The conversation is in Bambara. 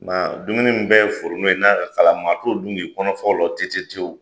Nka dumuni bɛɛ foronto ye n'a ka kalan, maa tɔ dun kɔnɔ fa o la tɛtɛtɛwu